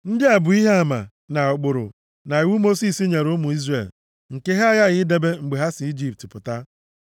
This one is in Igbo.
Ndị a bụ ihe ama, na ụkpụrụ, na iwu Mosis nyere ụmụ Izrel nke ha aghaghị idebe mgbe ha si nʼIjipt pụta